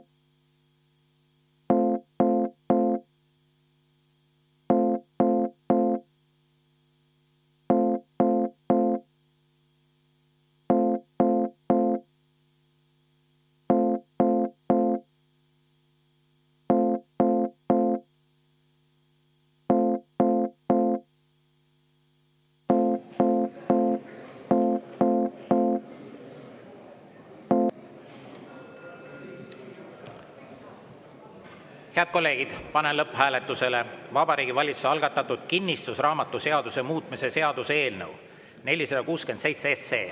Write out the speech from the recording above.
Head kolleegid, panen lõpphääletusele Vabariigi Valitsuse algatatud kinnistusraamatuseaduse muutmise seaduse eelnõu 467.